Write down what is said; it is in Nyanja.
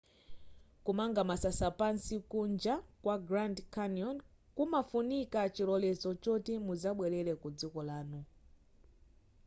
kumanga masasa pansi kunja kwa grand canyon kumafunika chilolezo choti muzabwelera ku dziko lanu